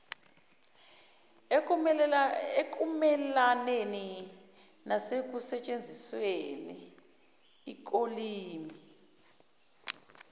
ekumelaneni nasekusetshenzisweni kolimi